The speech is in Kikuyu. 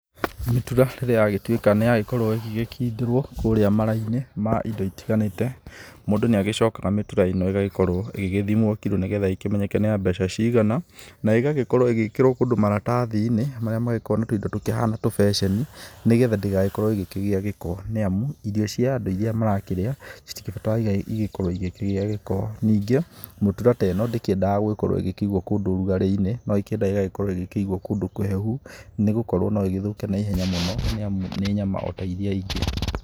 Mĩtura rĩrĩa yagĩtuĩka nĩ yagĩkindĩrwo kũrĩa mara-inĩ ma indo itiganĩte mũndũ nĩ agĩcokaga mĩtura ĩno ĩgagĩthimwo kirũ nĩ getha ĩkimenyeke nĩ ya mbeca cigana. Na ĩgagĩkorwo ĩgĩkĩrwo kũndũ maratathi-inĩ marĩa magĩkoragwo na tũindo tũkĩhana tũbeceni nĩ getha ndĩgagĩkorwo ĩgĩkĩgĩa gĩko. Nĩ amu irio cia andũ iria marakĩrĩa citibataire igĩkorwo igĩkĩgĩa gĩko, ningĩ mĩtura ta ĩno ndĩgĩbataire gũkorwo ĩkĩigwo kũndũ ũrugarĩ-inĩ. No ĩkĩendaga ĩgakorwo ĩgikĩigwo kũndũ kũhehu, nĩ gũkorwo no ĩgĩthũke na ihenya mũno nĩ amu nĩ nyama o ta iria ingĩ.